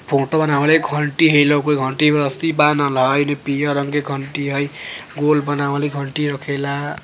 फोटो बनावल हई घंटी है घंटी में रस्सी बांधल हई पियर रंग के घंटी हई गोल बनावल हाई घंटी रखेला --